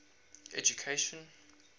education